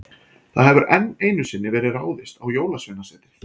Það hefur enn einu sinni verið ráðist á Jólasveinasetrið.